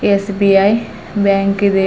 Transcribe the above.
S B I bank ಇದೆ.